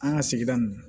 An ka sigida nin